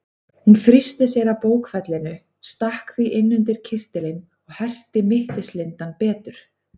Hún þrýsti að sér bókfellinu, stakk því inn undir kyrtilinn og herti mittislindann betur.